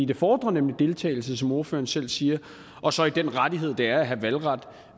det fordrer nemlig deltagelse som ordføreren selv siger og så i den rettighed det er at have valgret